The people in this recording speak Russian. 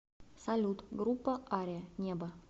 салют группа ария небо